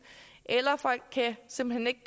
eller folk kan simpelt hen ikke